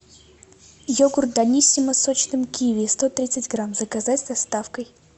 йогурт даниссимо с сочным киви сто тридцать грамм заказать с доставкой